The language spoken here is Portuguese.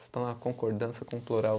Estou na concordância com o plural.